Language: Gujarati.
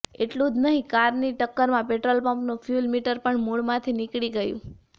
એટલું જ નહીં કારની ટક્કરમાં પેટ્રોલપંપનું ફ્યૂલ મિટર પણ મૂળમાંથી નીકળી ગયું